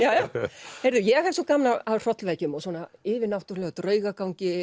fyrir sig ég hef svo gaman af hrollvekjum og yfirnáttúrulegu